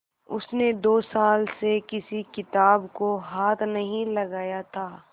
उसने दो साल से किसी किताब को हाथ नहीं लगाया था